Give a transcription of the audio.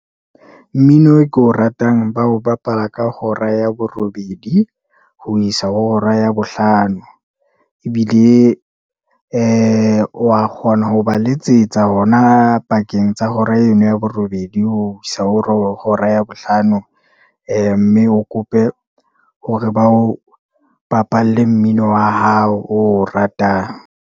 Mmino e ko ratang ba ho bapala ka hora ya borobedi, ho isa ho hora ya bohlano, ebile ee wa kgona ho ba letsetsa hore na pakeng tsa hora eno ya borobedi, ho isa ho hora ya bohlano. Ee mme o kope hore ba o bapalle mmino wa hao o ratang.